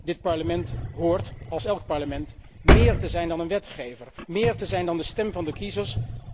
Dit Parlement hoort, als elk Parlement, meer te zijn dan een wetgever, meer te zijn dan de stem van de kiezers.